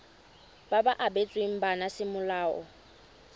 ba ba abetsweng bana semolao